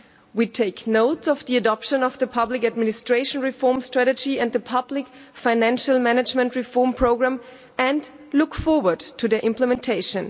We take note of the adoption of the public administration reform strategy and the public financial management reform programme and look forward to their implementation.